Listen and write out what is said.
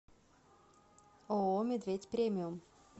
ооо медведь премиум